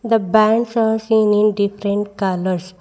The bands are seen in different colours.